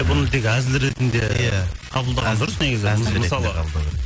бұны тек әзіл ретінде иә қабылдаған дұрыс негізі